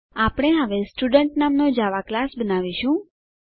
આપણે હવે સ્ટુડન્ટ નામનો જાવા ક્લાસ બનાવીશું